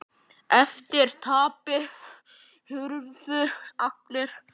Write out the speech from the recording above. Eftir tapið hurfu allar hömlur.